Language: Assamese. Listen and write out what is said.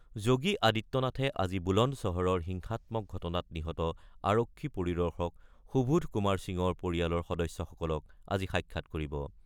যোগী আদিত্যনাথে আজি বুলন্দ চহৰৰ হিংসাত্মক ঘটনাত নিহত আৰক্ষী পৰিদৰ্শক সুবোধ কুমাৰ সিঙৰ পৰিয়ালৰ সদস্যসকলক সাক্ষাৎ কৰিব।